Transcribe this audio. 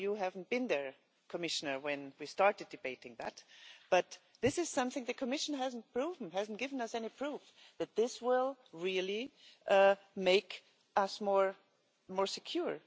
I know you weren't there, Commissioner, when we started debating that, but this is something which the Commission hasn't proven, it hasn't given us any proof that this will really make us more secure.